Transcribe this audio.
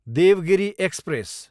Devgiri express